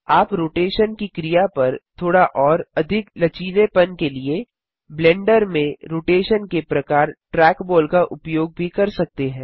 आप रोटेशन की क्रिया पर थोड़ा और अधिक लचीलेपन के लिए ब्लेंडर में रोटेशन के प्रकार ट्रैकबॉल का उपयोग भी कर सकते हैं